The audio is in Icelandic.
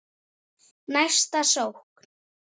Næsta sókn.